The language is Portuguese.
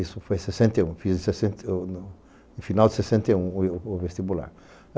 Isso foi em sessenta e um, no final de sessenta e um, o vestibular.